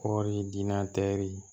Kɔɔri diina tɛ yi